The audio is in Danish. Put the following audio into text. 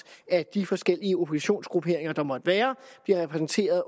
at de forskellige oppositionsgrupperinger der måtte være bliver repræsenteret